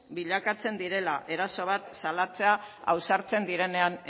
bilakatzen direla eraso bat salatzea ausartzen direnean